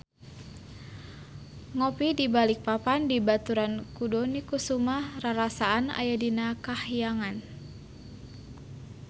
Ngopi di Balikpapan dibaturan ku Dony Kesuma rarasaan aya di kahyangan